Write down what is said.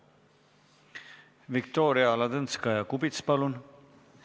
Viktoria Ladõnskaja-Kubits, palun!